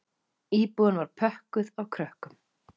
Íbúðin var pökkuð af krökkum